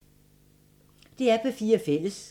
DR P4 Fælles